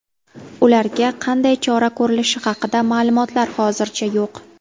Ularga qanday chora ko‘rilishi haqida ma’lumotlar hozircha yo‘q.